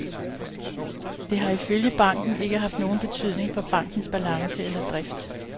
Det har ifølge banken ikke haft nogen betydning for bankens balance eller drift.